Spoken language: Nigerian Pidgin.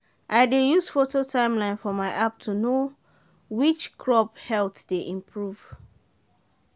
i dey use photo timeline for my app to know which crop health dey improve.